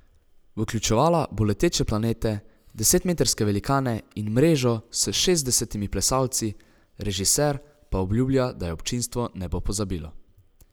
Vključevala bo leteče planete, desetmetrske velikane in mrežo s šestdesetimi plesalci, režiser pa obljublja, da je občinstvo ne bo pozabilo.